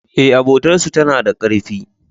E, abotar su tana da karfi.